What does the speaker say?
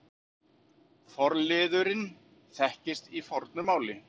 Forliðurinn þekkist í fornu máli.